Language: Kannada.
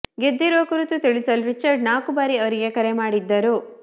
ಗೆದ್ದಿರುವ ಕುರಿತು ತಿಳಿಸಲು ರಿಚರ್ಡ್ ನಾಲ್ಕು ಬಾರಿ ಅವರಿಗೆ ಕರೆ ಮಾಡಿದ್ದರು